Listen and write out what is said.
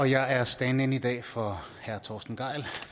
jeg er stand in i dag for herre torsten gejl